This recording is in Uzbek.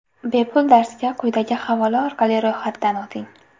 Bepul darsga quyidagi havola orqali ro‘yxatdan o‘ting!